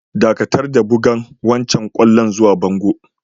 Dakatar da bugan wancan kwallon zuwa bangon!